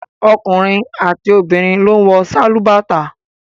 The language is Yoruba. Ọkùnrin àti obìnrin ló ń wọ sálúbàtà